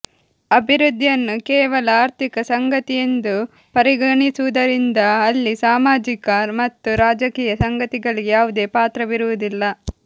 ಅಭಿವೃದ್ಧಿಯನ್ನು ಕೇವಲ ಆರ್ಥಿಕ ಸಂಗತಿಯೆಂದು ಪರಿಗಣಿಸುವುದರಿಂದ ಅಲ್ಲಿ ಸಾಮಾಜಿಕ ಮತ್ತು ರಾಜಕೀಯ ಸಂಗತಿಗಳಿಗೆ ಯಾವುದೇ ಪಾತ್ರವಿರುವುದಿಲ್ಲ